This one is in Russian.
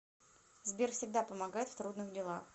сбер всегда помогает в трудных делах